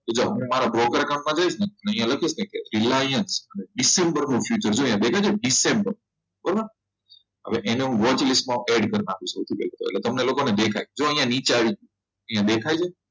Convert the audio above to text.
તો જો હું મારા broker account માં જઈશ ને અહિયાં લખીશ ને કે Reliance કરું છું કે જો અહીંયા દેખાય છે દિસેમ્બર કરવું બરોબર હવે એને હું vote list માં add કરી નાખીશ એટલે કે તમને લોકોને દેખાય જોયા નીચે આવી અહીંયા દેખાય છે